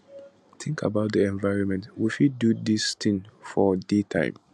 tink about di environment we fit do dis tin for day time